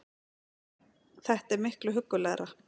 Þetta er miklu huggulegra